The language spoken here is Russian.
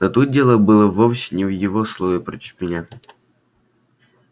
но тут дело было вовсе не в его слове против меня